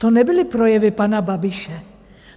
To nebyly projevy pana Babiše.